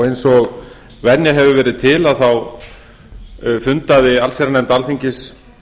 eins og venjan hefur verið til þá fundaði allsherjarnefnd alþingis